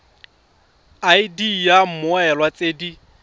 id ya mmoelwa tse di